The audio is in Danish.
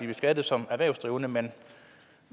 beskattet som erhvervsdrivende men